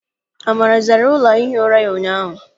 Amara zara ụlọ ihi ụra ya ụnyaahụ.